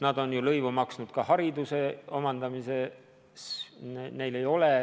Nad on ju lõivu maksnud ka hariduse omandamisel.